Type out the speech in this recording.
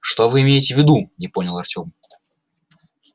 что вы имеете в виду не понял артем